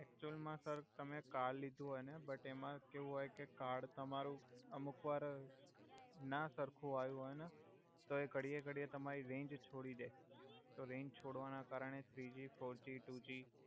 actual મા sir તમે card લિધુ હોય ને બટ એમા કેવુ હોય કે કાર્ડ તમારુ અમુક વાર ના સર્ખુ આયુ હોય ને તો ઘડીયે ઘડીયે તમારી રેંજ છોડી દે તો રેંજ છોડવાના કારણે થ્રિજી ફોરજી ટુજી